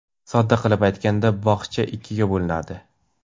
Sodda qilib aytganda, bog‘cha ikkiga bo‘linadi.